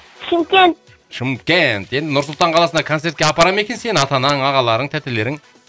шымкент шымкент енді нұр сұлтан қаласына концертке апарады ма екен сені ата анаң ағаларың тәтелерің